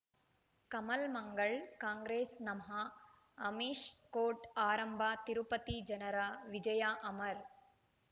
ಕಮಲ್ ಮಂಗಳ್ ಕಾಂಗ್ರೆಸ್ ನಮಃ ಅಮಿಷ್ ಕೋರ್ಟ್ ಆರಂಭ ತಿರುಪತಿ ಜನರ ವಿಜಯ ಅಮರ್